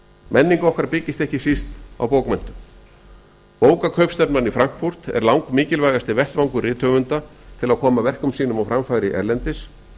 menning ekki byggist ekki síst á bókmenntum bókakaupstefnan í frankfurt er langmikilvægasti vettvangur rithöfunda til að koma verkum sínum á framfæri erlendis og